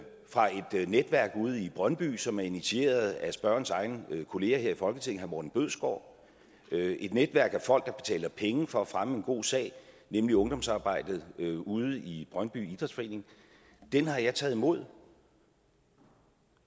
fra et netværk ude i brøndby som er initieret af spørgerens egen kollega her i folketinget herre morten bødskov et netværk af folk der betaler penge for at fremme en god sag nemlig ungdomsarbejdet ude i brøndby idrætsforening den har jeg taget imod